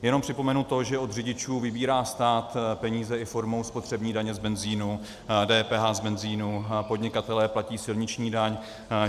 Jenom připomenu to, že od řidičů vybírá stát peníze i formou spotřební daně z benzínu, DPH z benzínu, podnikatelé platí silniční daň.